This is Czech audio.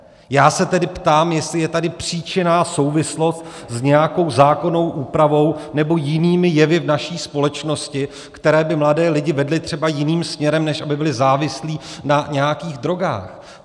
Já se tedy ptám, jestli je tady příčinná souvislost s nějakou zákonnou úpravou nebo jinými jevy v naší společnosti, které by mladé lidi vedly třeba jiným směrem, než aby byli závislí na nějakých drogách.